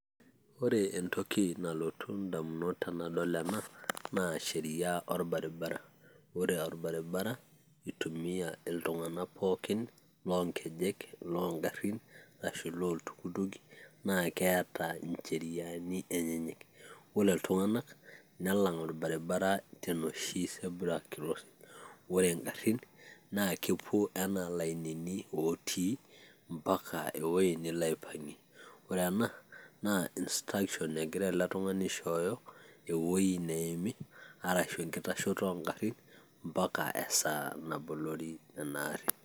ore entoki nalotu idamunot tenadol ena naa sheria olbaribara. ore olbaribara i tumia iltung'ank pookin, iloo nkejek, iloo garin, ashu ilooltukutuki, naa keeta ncheriani enyenyek, ore iltung'anak, nelang 'olbaribara tenoshi zebra crossing. ore ngarin naa kepuo anaa ilainini otii mpaka ewuei nelo aipang'ie. ore ena naa instruction egira ele tungani aishooyo, ewuei neimi arashu enkitashoto oo garin mpaka esaa nabolori ena ari.